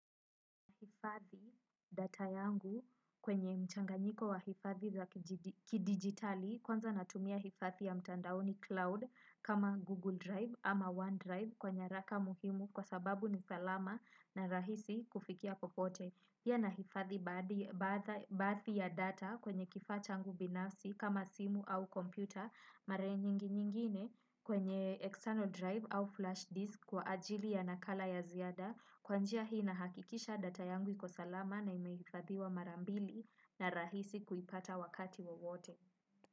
Hifadhi data yangu kwenye mchanganyiko wa hifadhi za kidigitali kwanza natumia hifadhi ya mtandaoni cloud kama Google Drive ama OneDrive kwa nyaraka muhimu kwa sababu ni salama na rahisi kufikia popote. Pia nahifadhi baadhi ya data kwenye kifaa changu binafsi kama simu au kompyuta mara nyingi nyingine kwenye external drive au flash disk kwa ajili ya nakala ya ziada kwa njia hii na hakikisha data yangu iko salama na imehifadhiwa mara mbili na rahisi kuipata wakati wowote.